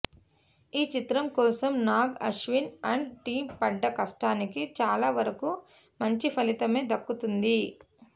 ఈ చిత్రం కోసం నాగ్ అశ్విన్ అండ్ టీం పడ్డ కష్టానికి చాలా వరకు మంచి ఫలితమే దక్కుతోంది